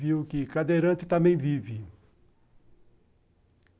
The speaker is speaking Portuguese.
Viu que cadeirante também vive.